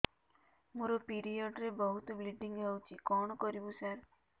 ମୋର ପିରିଅଡ଼ ରେ ବହୁତ ବ୍ଲିଡ଼ିଙ୍ଗ ହଉଚି କଣ କରିବୁ ସାର